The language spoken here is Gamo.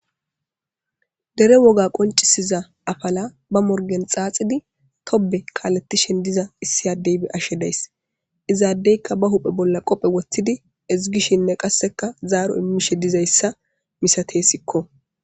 dere woga qoncisiza afala ba morgen xaaxidi tobe kaaletishen diza issi addey be'ashe days izaaddeyka ba huphe bolla qophe woththidi izigishinne qasseka zaaro immishe dizayssa misate sikko